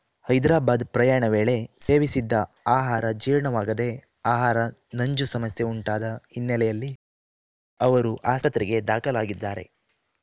ಹೈದರಾಬಾದ್‌ ಪ್ರಯಾಣ ವೇಳೆ ಸೇವಿಸಿದ್ದ ಆಹಾರ ಜೀರ್ಣವಾಗದೆ ಆಹಾರ ನಂಜು ಸಮಸ್ಯೆ ಉಂಟಾದ ಹಿನ್ನೆಲೆಯಲ್ಲಿ ಅವರು ಆಸ್ಪತ್ರೆಗೆ ದಾಖಲಾಗಿದ್ದಾರೆ